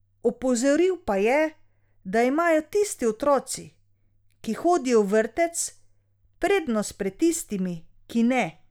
Opozoril pa je, da imajo tisti otroci, ki hodijo v vrtec, prednost pred tistimi, ki ne.